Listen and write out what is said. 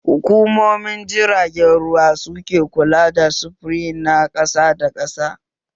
Hukumomin jiragen ruwa su ke kula da sufuri na ƙasa da ƙasa